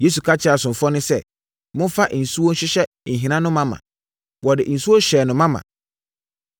Yesu ka kyerɛɛ asomfoɔ no sɛ, “Momfa nsuo nhyehyɛ nhina no ma ma.” Wɔde nsuo hyɛɛ no ma ma.